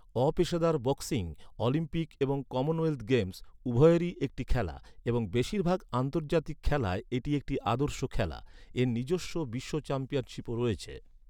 অপেশাদার boxing, Olympic এবং Commonwealth games, উভয়েরই একটি খেলা এবং বেশির ভাগ আন্তর্জাতিক খেলায় এটি একটি আদর্শ খেলা। এর নিজস্ব বিশ্ব চ্যাম্পিয়নশিপও রয়েছে।